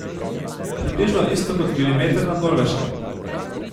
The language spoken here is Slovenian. Približno isto kot milimeter na Norveškem.